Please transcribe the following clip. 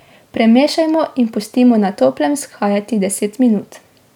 Premešamo in pustimo na toplem vzhajati deset minut.